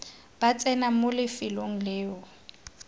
ba tsena mo lefelong leo